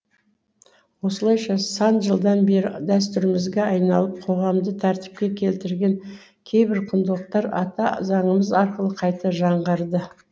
осылайша сан жылдан бері дәстүрімізге айналып қоғамды тәртіпке келтірген кейбір құндылықтар ата заңымыз арқылы қайта жаңғырды